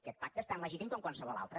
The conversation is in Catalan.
aquest pacte és tan legítim com qualsevol altre